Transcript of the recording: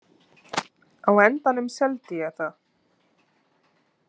Á endanum seldi ég það.